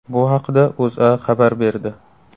Bu haqida O‘zA xabar berdi .